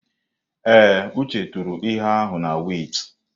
Ee, Uche tụrụ ihe ahụ na wẹ́itị.